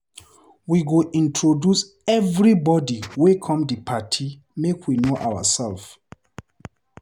We go introduce everybodi wey come di party make we know oursef.